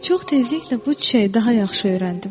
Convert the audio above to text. Çox tezliklə bu çiçəyi daha yaxşı öyrəndim.